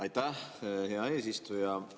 Aitäh, hea eesistuja!